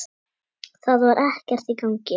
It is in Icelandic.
Það var ekkert í gangi.